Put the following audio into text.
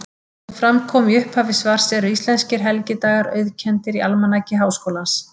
Eins og fram kom í upphafi svars eru íslenskir helgidagar auðkenndir í Almanaki Háskólans.